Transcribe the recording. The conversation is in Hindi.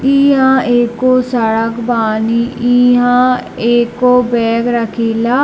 इहा एगो सड़क बानी इहा एगो बैग रखिला |